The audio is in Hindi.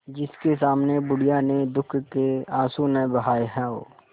जिसके सामने बुढ़िया ने दुःख के आँसू न बहाये हां